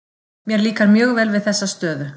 Mér líkar mjög vel við þessa stöðu.